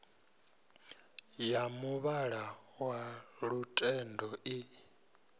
ya muvhala wa lutendo i